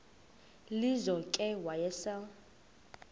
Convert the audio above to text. lizo ke wayesel